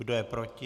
Kdo je proti?